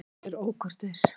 Hver er ókurteis?